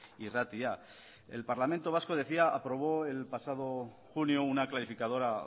irratia el parlamento vasco decía aprobó el pasado junio una clarificadora